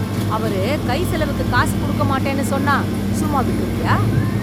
அவரு கைச்செலவுக்கு காசு குடுக்கமாட்டேன்னு சொன்னா, சும்மா விட்ருவியா...